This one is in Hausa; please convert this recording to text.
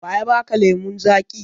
Wa ya ba ka lemon zaƙi?